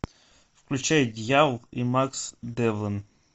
включай дьявол и макс девлин